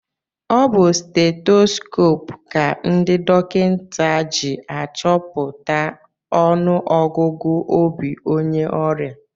Ọ bu stetoskoopu ka ndị dọkịta ji achọpụta ọnụ ọgụgụ obi onye ọrịa.